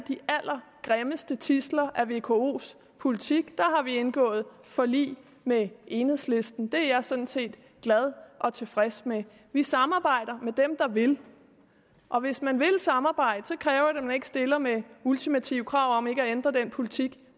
de allergrimmeste tidsler af vkos politik og vi indgået forlig med enhedslisten det er jeg sådan set glad og tilfreds med vi samarbejder med dem der vil og hvis man vil samarbejde kræver det at man ikke stiller med ultimative krav om ikke at ændre den politik